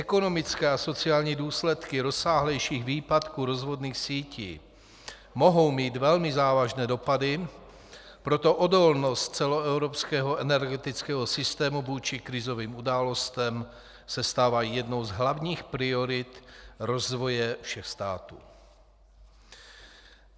Ekonomické a sociální důsledky rozsáhlejších výpadků rozvodných sítí mohou mít velmi závažné dopady, proto odolnost celoevropského energetického systému vůči krizovým událostem se stává jednou z hlavních priorit rozvoje všech států.